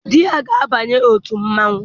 Di ya ga-abanye otu mmanwụ.